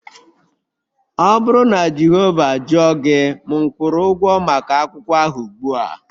Ọ bụrụ na Jehova jụọ gị, m kwụrụ ụgwọ maka akwụkwọ ahụ ugbua